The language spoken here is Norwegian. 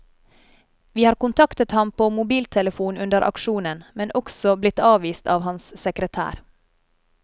Vi har kontaktet ham på mobiltelefon under aksjonen, men også blitt avvist av hans sekretær.